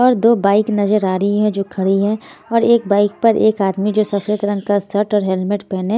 और दो बाइक नजर आ रही हैजो खड़ी हैऔर एक बाइक पर एक आदमी जो सफेद रंग का शर्ट और हेलमेट पहने--